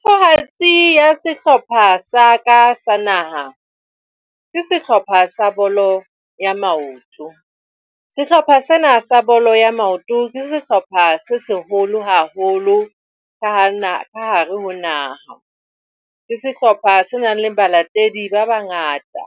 Thatohatsi ya sehlopha sa ka sa naha ke sehlopha sa bolo ya maoto. Sehlopha sena sa bolo ya maoto ke sehlopha se seholo haholo ka hare ho naha. Ke sehlopha se nang le balatedi ba bangata.